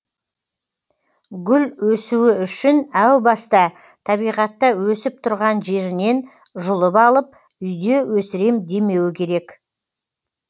гүл өсуі үшін әу баста табиғатта өсіп тұрған жерінен жұлып алып үйде өсірем демеуі керек